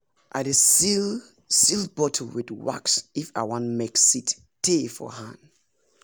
i dey seal seal bottle with wax if i wan make seed tey for hand